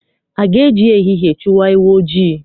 A ga-eji ehihie chụwa ewu ojii?